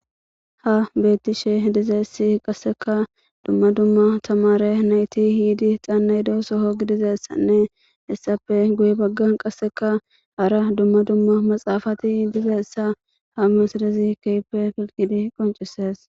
ha beettishe dizeessi qasseka dumma dumma tamare nayti xaannayda soho gidizessanne hessape guye baggan qasseka ara dumma dumma maxaafati diza essa ha masadezi keype filkidi qoncises